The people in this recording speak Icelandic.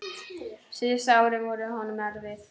Síðustu árin voru honum erfið.